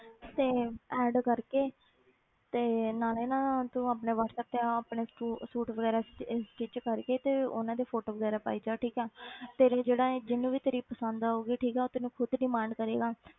ਤੇ add ਕਰਕੇ ਤੇ ਨਾਲੇ ਨਾ ਤੂੰ ਆਪਣੇ ਵਾਟਸੈਪ ਤੇ ਆਹ ਆਪਣੇ ਸੂ~ suit ਵਗ਼ੈਰਾ ਸਟਿ~ stitch ਕਰਕੇ ਤੇ ਉਹਨਾਂ ਦੀ photo ਵਗ਼ੈਰਾ ਪਾਈ ਚੱਲ ਠੀਕ ਹੈ ਤੇਰੇ ਜਿਹੜਾ ਇਹ ਜਿਹਨੂੰ ਵੀ ਤੇਰੀ ਪਸੰਦ ਆਊਗੀ ਠੀਕ ਹੈ ਉਹ ਤੈਨੂੰ ਖੁੱਦ demand ਕਰੇਗਾ